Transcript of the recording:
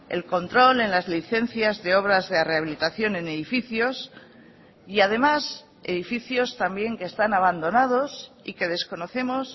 el control en las licencias de obras de rehabilitación en edificios y además edificios también que están abandonados y que desconocemos